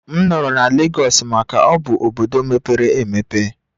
M nọrọ na Lagos maka na ọ bụ obodo mepere emepe